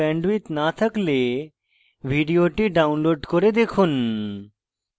ভাল bandwidth না থাকলে ভিডিওটি download করে দেখুন